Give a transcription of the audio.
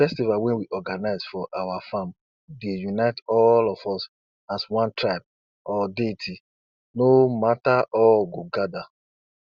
my uncle swear say one tree wey de name na boabab tree dey hold secrets of how people been dey farm from generation to generation